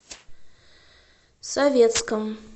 советском